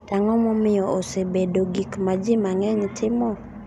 To ang’o momiyo osebedo gik ma ji mang’eny timo?